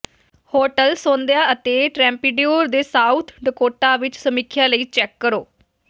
hotel ਸੌਦਿਆਂ ਅਤੇ ਟ੍ਰੈਪਿਡਿਉਰ ਤੇ ਸਾਊਥ ਡਕੋਟਾ ਵਿਚ ਸਮੀਖਿਆ ਲਈ ਚੈੱਕ ਕਰੋ